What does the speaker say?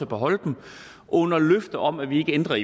beholde dem under løfte om at vi ikke ændrer